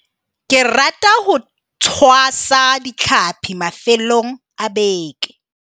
ke rata ho tshwasa ditlhapi mafelong a beke.